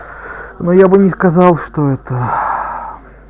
ну я бы не сказал что это